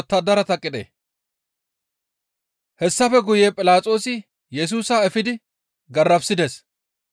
Hessafe guye Philaxoosi Yesusa efidi garafissides.